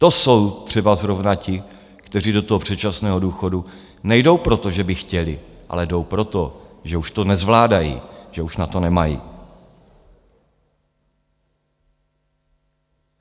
To jsou třeba zrovna ti, kteří do toho předčasného důchodu nejdou proto, že by chtěli, ale jdou proto, že už to nezvládají, že už na to nemají.